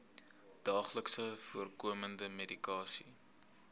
daagliks voorkomende medikasie